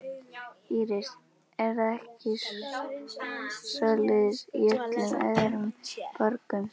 Íris: Er það ekki svoleiðis í öllum öðrum borgum?